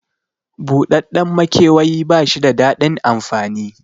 Buɗaɗɗen maikewayi bashi da daɗin amfani